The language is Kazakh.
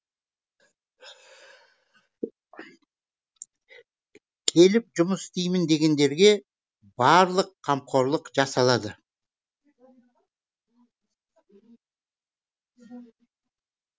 келіп жұмыс істеймін дегендерге барлық қамқорлық жасалады